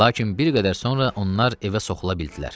Lakin bir qədər sonra onlar evə soxula bildilər.